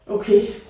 Okay